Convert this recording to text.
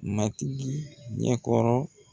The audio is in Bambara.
Matigi ɲɛ kɔrɔ